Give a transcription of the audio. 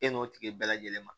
E n'o tigi bɛɛ lajɛlen ma